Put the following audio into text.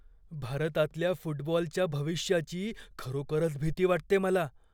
भारतातल्या फुटबॉलच्या भविष्याची खरोखरच भीती वाटते मला.